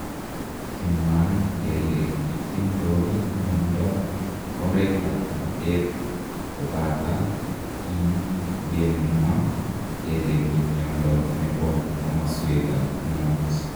Kimwaat kele kitindoi miondo ap oreet ap bateet kobata kinygemwa kele ki miondonepo komasweek ap ung'ot